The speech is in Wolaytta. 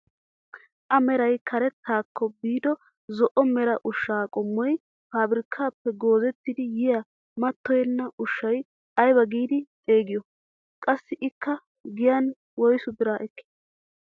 A meray karettaakko biido zo'o mera ushshaa qommoy pabirkkaappe goozettidi yiyaa mattoyenna ushshaa aybaa giidi xeegiyoo? Qassi ikka giyaan woysu biraa ekkii?